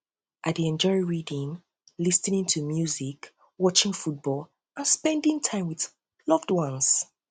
i dey enjoy reading dey enjoy reading lis ten ing to music watching football and spending time with loved ones